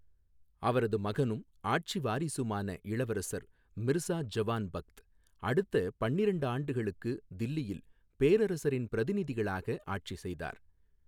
அவரது மகனும் ஆட்சிவாரிசுமான இளவரசர் மிர்சா ஜவான் பக்த் அடுத்த பன்னிரெண்டு ஆண்டுகளுக்கு தில்லியில் பேரரசரின் பிரதிநிதிகளாக ஆட்சி செய்தார்.